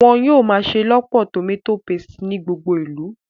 Wọ́n yóò máa ṣelọpọ tòmátò paste ní gbogbo ìlú